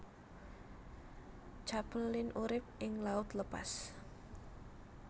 Capelin urip ing laut lepas